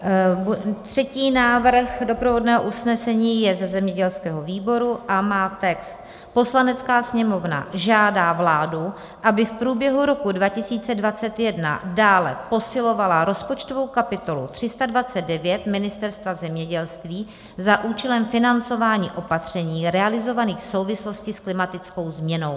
Třetí návrh doprovodného usnesení je ze zemědělského výboru a má text: "Poslanecká sněmovna žádá vládu, aby v průběhu roku 2021 dále posilovala rozpočtovou kapitolu 329 Ministerstva zemědělství za účelem financování opatření realizovaných v souvislosti s klimatickou změnou."